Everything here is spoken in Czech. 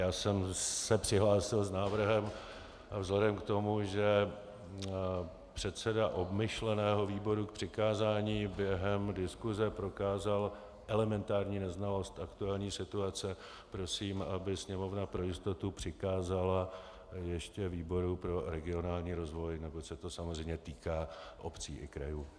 Já jsem se přihlásil s návrhem, vzhledem k tomu, že předseda obmyšleného výboru k přikázání během diskuse prokázal elementární neznalost aktuální situace, prosím, aby Sněmovna pro jistotu přikázala ještě výboru pro regionální rozvoj, neboť se to samozřejmě týká obcí i krajů.